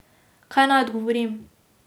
Kaj naj odgovorim?